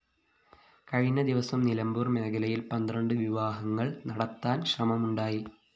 കഴിഞ്ഞ ദിവസം നിലമ്പൂര്‍ മേഖലയില്‍ പന്ത്രണ്ട് വിവാഹങ്ങള്‍ നടത്താന്‍ ശ്രമമുണ്ടായി